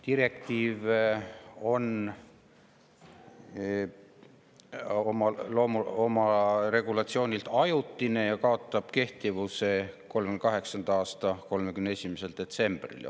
Direktiivi regulatsioon on ajutine ja kaotab kehtivuse 2038. aasta 31. detsembril.